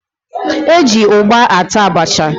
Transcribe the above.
E ji ụgba ata abacha